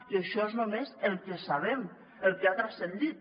i això és només el que sabem el que ha transcendit